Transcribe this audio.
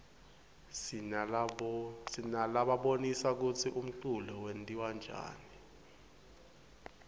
sinalabonisa kutsi umculo wentiwaryani